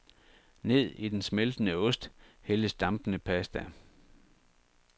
Ned i den smeltende ost hældes dampende pasta.